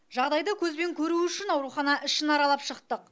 жағдайды көзбен көру үшін аурухана ішін аралап шықтық